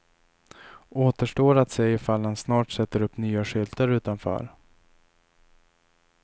Återstår att se ifall han snart sätter upp nya skyltar utanför.